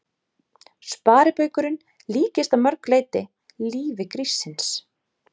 Sparibaukurinn líkist að mörg leyti lífi gríssins.